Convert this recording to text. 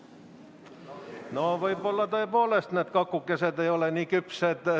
No võib-olla tõepoolest need kakukesed ei ole nii küpsed.